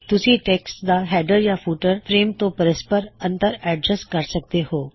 ਤੁਸੀਂ ਟੈੱਕਸਟ ਦਾ ਹੈਡਰ ਜਾਂ ਫੁਟਰ ਫਰੇਮ ਤੋਂ ਪਰਸਪਰ ਅਂਤਰ ਔਡਜਸ੍ਟ ਕਰ ਸਕਦੇ ਹੋਂ